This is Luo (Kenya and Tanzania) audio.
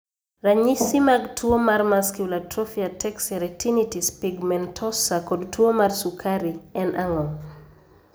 Ranyisi mag tuwo mar Muscular atrophy ataxia retinitis pigmentosa kod tuwo mar sukari en ang'o?